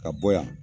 Ka bɔ yan